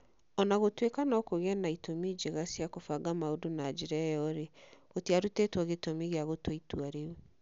O na gũtuĩka no kũgĩe na itũmi njega cia kũbanga maũndũ na njĩra ĩyo-rĩ, gũtiarutĩtwo gĩtũmi gĩa gũtua itua rĩu.